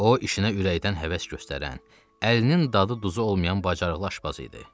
O işinə ürəkdən həvəs göstərən, əlinin dadı duzu olmayan bacarıqlı aşpaz idi.